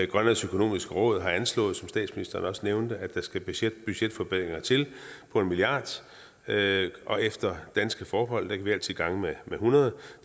grønlands økonomisk råd har anslået som statsministeren også nævnte at der skal budgetforbedringer til på en milliard kr og efter danske forhold kan vi altid gange med hundrede